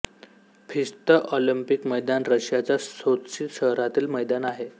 Fisht Olympic मैदान रशियाच्या सोत्शी शहरातील मैदान आहे